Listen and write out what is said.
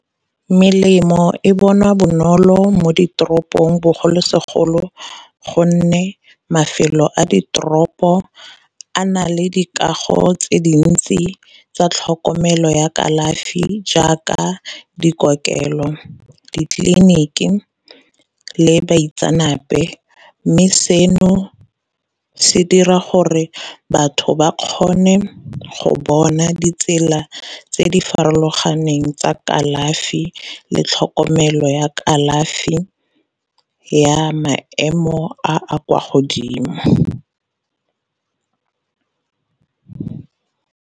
Melemo e bonwa bonolo mo ditoropong bogolosegolo gonne mafelo a diteropo a na le dikago tse dintsi tsa tlhokomelo ya kalafi jaaka dikokelo, ditleliniki, le baitsanape. Mme seno se dira gore batho ba kgone go bona ditsela tse di farologaneng tsa kalafi le tlhokomelo ya kalafi ya maemo a a kwa godimo.